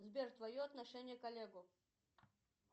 сбер твое отношение к олегу